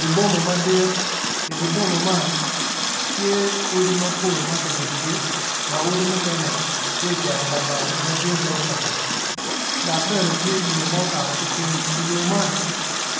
Di boma madit, idyer boma man tye odi mapol maki yubogi ma odi mukene tye ocero lamal matye gurofa dok bene tye yo ma okato ki ping yo man